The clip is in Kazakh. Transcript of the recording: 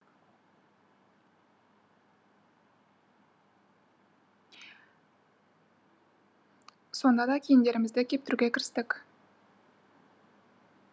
сонда да киімдерімізді кептіруге кірістік